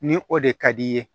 Ni o de ka d'i ye